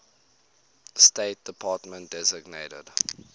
state department designated